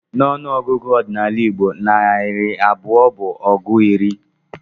N'ọnụ ọgụgụ ọdịnala Igbo, narị abụọ bụ ọgụ iri.